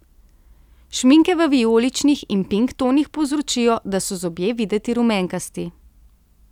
Šminke v vijoličnih in pink tonih povzročijo, da so zobje videti rumenkasti.